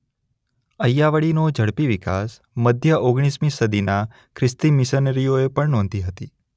અય્યાવળીનો ઝડપી વિકાસ મધ્ય ઓગણીસમી સદીના ખ્રિસ્તી મિશનરીઓ પણ નોંધી હતી.